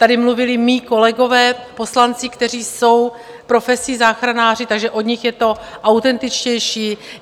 Tady mluvili mí kolegové poslanci, kteří jsou profesí záchranáři, takže od nich je to autentičtější.